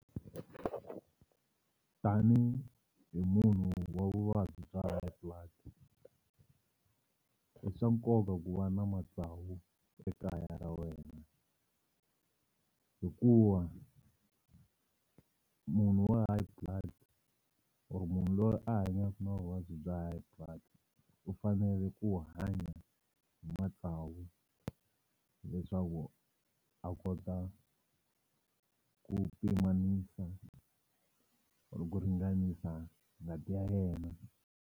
Tanihi munhu wa vuvabyi bya high blood i swa nkoka ku va na matsavu ekaya ra wena hikuva munhu wa high blood or munhu loyi a hanyaka na vuvabyi bya high blood u fanele ku hanya hi matsawu leswaku a kota ku pimanisa or ku ringanisa ngati ya yena.